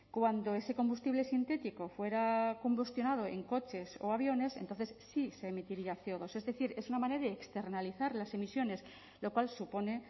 cuando ese combustible sintético fuera combustionado en coches o aviones entonces sí se emitiría ce o dos es decir es una manera de externalizar las emisiones lo cual supone